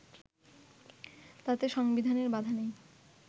তাতে সংবিধানে বাধা নেই